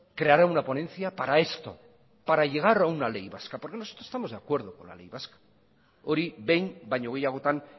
creará una ponencia para esto para llegar a una ley vasca porque nosotros estamos de acuerdo con la ley vasca hori behin baino gehiagotan